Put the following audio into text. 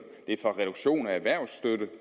det er fra reduktion af erhvervsstøtte